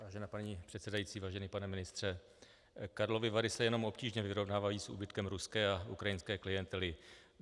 Vážená paní předsedající, vážený pane ministře, Karlovy Vary se jenom obtížně vyrovnávají s úbytkem ruské a ukrajinské klientely.